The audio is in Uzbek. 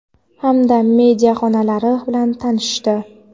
hamda media xonalari bilan tanishishdi.